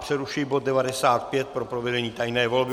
Přerušuji bod 95 pro provedení tajné volby.